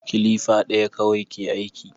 Kilifa ɗaya kawai ke aiki